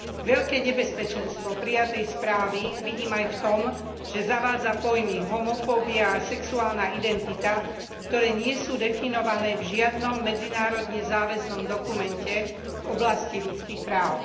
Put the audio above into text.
Veľké nebezpečenstvo prijatej správy vidím aj v tom, že zavádza pojmy homofóbia a sexuálna identita, ktoré nie sú definované v žiadnom medzinárodne záväznom dokumente v oblasti ľudských práv.